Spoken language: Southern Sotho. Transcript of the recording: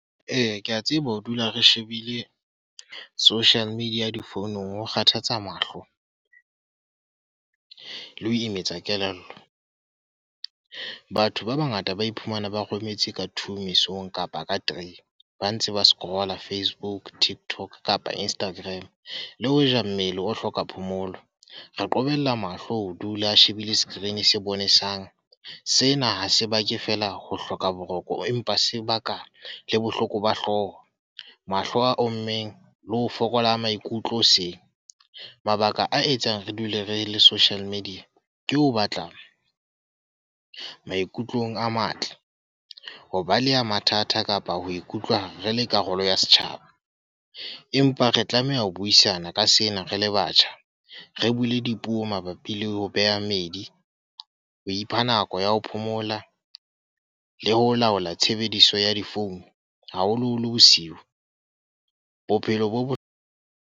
Eya, ke a tseba ho dula re shebile social media difounung ho kgathatsa mahlo. Le ho imetsa kelello. Batho ba bangata ba iphumana ba rometse ka two mesong kapa ka three. Ba ntse ba scroller Facebook, TikTok kapa Instagram. Le hoja mmele o hloka phomolo, re qobella mahlo ho dula a shebile screen se bonesang. Sena ha se bake fela ho hloka boroko empa sebaka le bohloko ba hlooho. Mahlo a o immeng, le ho fokola maikutlo hoseng. Mabaka a etsang re dule re le social media, ke ho batla maikutlong a matle. Ho baleha mathata kapa ho ikutlwa re le karolo ya setjhaba. Empa re tlameha ho buisana ka sena re le batjha. Re bule dipuo mabapi le ho beha meedi, ho ipha nako ya ho phomola, le ho laola tshebediso ya difounu, haholo-holo bosiu. Bophelo bo bo? .